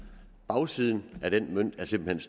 bagsiden af den mønt er simpelt